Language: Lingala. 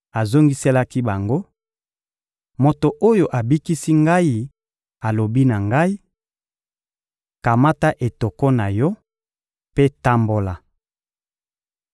Azongiselaki bango: — Moto oyo abikisi ngai alobi na ngai: «Kamata etoko na yo mpe tambola.»